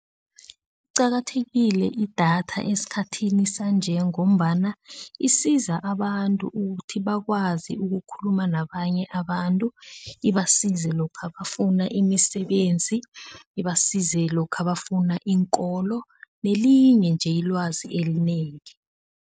liqakathekile idatha esikhathini sanje ngombana isiza abantu ukuthi bakwazi ukukhuluma nabanye abantu, ibasize lokha bafuna imisebenzi, ibasize lokha bafuna iinkolo, nelinye nje ilwazi elinengi.